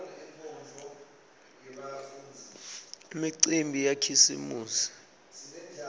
imicimbi yakhisimusi